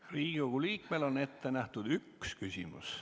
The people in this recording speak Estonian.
Riigikogu liikmele on ette nähtud üks küsimus.